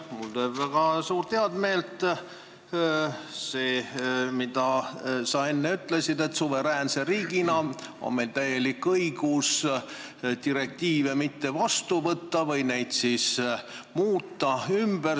Mulle teeb väga suurt heameelt see, mis sa enne ütlesid, et suveräänse riigina on meil täielik õigus direktiive mitte vastu võtta või neid muuta.